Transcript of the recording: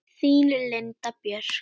Þín Linda Björk.